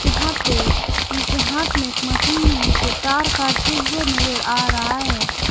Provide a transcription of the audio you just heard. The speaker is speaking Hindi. यहां पे इनके हाथ में एक मशीन है जिसे तार काटते हुए नजर आ रहा है।